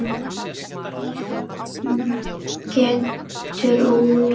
Nýhöfn getur út.